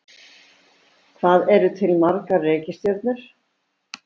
Hvað eru til margar reikistjörnur?